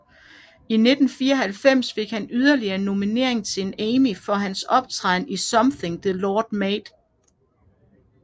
I 1994 fik han yderligere en nominering til en Emmy for hans optræden i Something the Lord Made